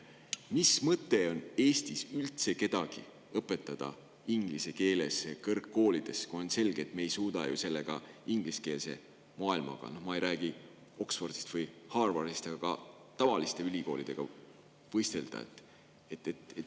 Mis mõte on Eesti kõrgkoolides üldse kedagi õpetada inglise keeles, kui on selge, et me ei suuda ju ingliskeelse maailma – no ma ei räägi Oxfordist või Harvardist – tavaliste ülikoolidega võistelda?